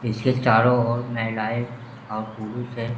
इसके चारो ओर महिलाएँ और पुरुष हैं।